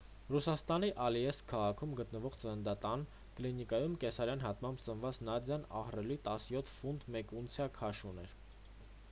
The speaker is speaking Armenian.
ռուսաստանի ալեիսկ քաղաքում գտնվող ծննդատան կլինիկայում կեսարյան հատմամբ ծնված նադյան ահռելի 17 ֆունտ 1 ունցիա քաշ ուներ